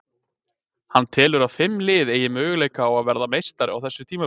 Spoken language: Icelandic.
Hann telur að fimm lið eigi möguleika á að verða meistari á þessu tímabili.